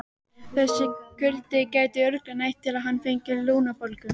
Þessi kuldi gæti örugglega nægt til að hann fengi lungnabólgu.